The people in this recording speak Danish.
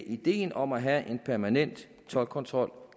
ideen om at have en permanent toldkontrol